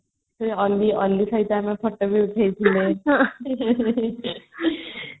ଅଲ୍ଲୀ ଅଲ୍ଲୀ ସହିତ ଆମେ photo ବି ଉଠେଇଥିଲେ